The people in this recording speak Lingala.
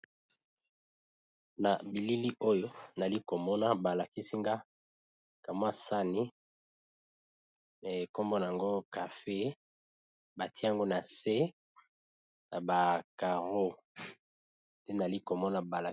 Na bilili oyo nali komona balakisinga kamwasani na ekombona yango cafe batiango na se na bacaro te nali komona balai.